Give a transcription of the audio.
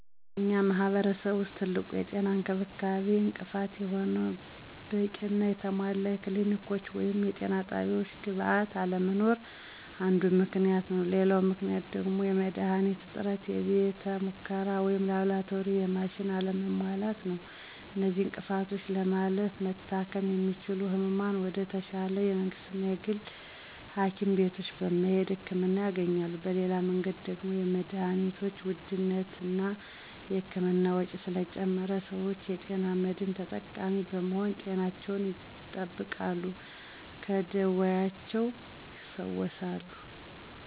በእኛ ማህረሰብ ውስጥ ትልቁ የጤና እንክብካቤ እንቅፋት የሆነው በቂና የተሟላ የክሊኒኮች ወይም የጤና ጣቢያወች ግብዓት አለመኖር አንዱ ምክንያት ነው፤ ሌላው ምክንያት ደግሞ የመድሀኒት እጥረት፥ የቤተ ሙከራ ወይም ላብራቶሪና የማሽን አለመሟላት ነው። እነዚህን እንቅፍቶች ለማለፍ መታከም የሚችሉት ህሙማን ወደ ተሻለ የመንግስትና የግል ሀኪም ቤቶች በመሄድ ህክምና ያገኛሉ። በሌላ መንገድ ደግሞ የመድሀኒቶችን ውድነትና እና የህክምና ወጭ ስለጨመረ ሰወች የጤና መድን ተጠቃሚ በመሆን ጤናቸውን ይጠብቃሉ ከደወያቸውም ይፈወሳሉ።